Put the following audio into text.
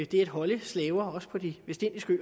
det at holde slaver også på de vestindiske